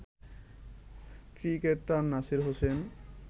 cricketer Nasir Hossain